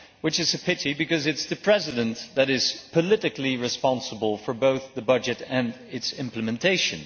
This is a pity because it is the President who is politically responsible for both the budget and its implementation.